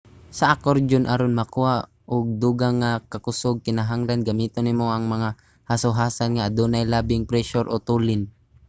sa akordyon aron makakuha og dugang nga kakusog kinahanglan gamiton nimo ang mga hasohasan nga adunay labing presyur o tulin